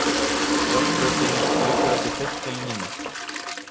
Járnbrautin liggur eftir beinni línu.